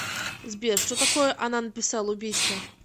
сбер что такое она написала убийство